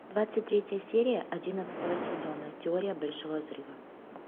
двадцать третья серия одиннадцатого сезона теория большого взрыва